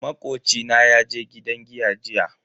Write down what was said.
Makoci na yaje gidan giya jiya.